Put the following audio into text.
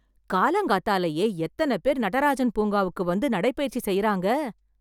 காலங்கார்த்தாலேயே, எத்தன பேர் நடராஜன் பூங்காக்கு வந்து, நடைபயிற்சி செய்றாங்க..